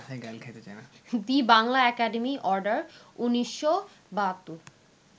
the Bangla academy order, ১৯৭২